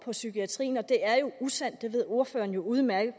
for psykiatrien og det er jo usandt det ved ordføreren udmærket